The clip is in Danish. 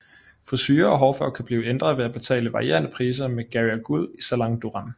Frisure og hårfarve kan blive ændret ved at betale varierende priser med Gaia Guld i Salon Durem